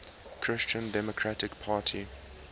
christian democratic party